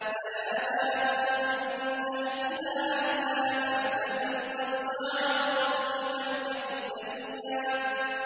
فَنَادَاهَا مِن تَحْتِهَا أَلَّا تَحْزَنِي قَدْ جَعَلَ رَبُّكِ تَحْتَكِ سَرِيًّا